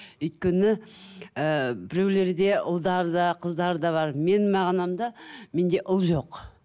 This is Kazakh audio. өйткені ііі біреулерде ұлдары да қыздары да бар менің мағынамда менде ұл жоқ